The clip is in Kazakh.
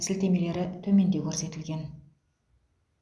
сілтемелері төменде көрсетілген